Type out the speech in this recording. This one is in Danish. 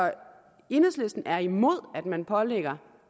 enhedslisten er imod at man pålægger